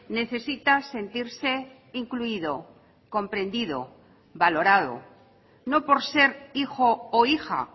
necesita sentirse incluido comprendido valorado no por ser hijo o hija